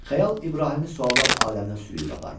Xəyal İbrahimi suallar aləminə sürüb aparmışdı.